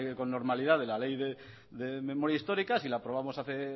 con normalidad de la ley de memoria histórica si la aprobamos hace